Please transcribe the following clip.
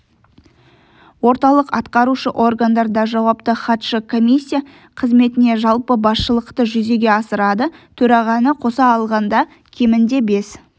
орталық атқарушы органдарда жауапты хатшы комиссия қызметіне жалпы басшылықты жүзеге асырады төрағаны қоса алғанда кемінде бес